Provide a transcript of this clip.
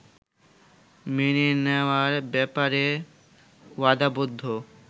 মেনে নেওয়ার ব্যাপারে ওয়াদাবদ্ধ